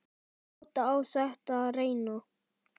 Láta á þetta reyna.